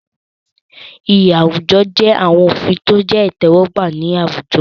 Iyì àwùjọ jẹ́ àwọn òfin tó jẹ́ ìtẹ́wọ́gbà ní àwùjọ.